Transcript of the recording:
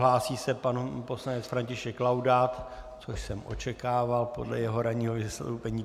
Hlásí se pan poslanec František Laudát, což jsem očekával podle jeho ranního vystoupení.